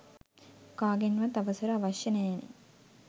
කාගෙන්වත් අවසර අවශ්‍ය නෑනේ.